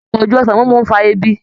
Àpọ̀jù ọsàn mímu ń fa ebi